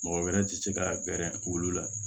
Mɔgɔ wɛrɛ ti se ka gɛrɛnbu la